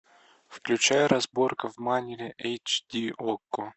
включай разборка в майнере эйч ди окко